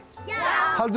já haldið